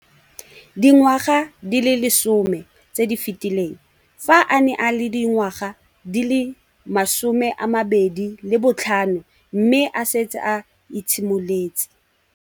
Dingwaga di le 10 tse di fetileng, fa a ne a le dingwaga di le 23 mme a setse a itshimoletse.